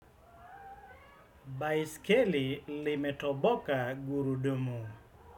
Baiskeli limetoboka gurudumu.